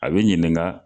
A bɛ ɲininka